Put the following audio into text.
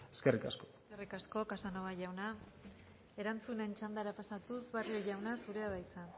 eskerrik asko eskerrik asko casanova jauna erantzunen txandara pasatuz barrio jauna zurea da hitza